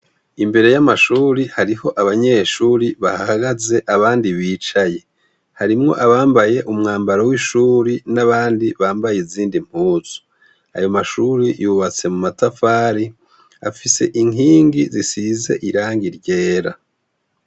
Imbere y'amashure, hariho abanyeshure bahahagaze abandi bicaye, harimwo abambaye umwambaro w'ishure n'abandi bambaye izindi mpuzu, ayo mashure yubatse mu matafari, afise inkingi zisize irangi ryera.